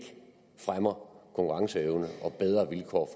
fremmer konkurrenceevne og bedre vilkår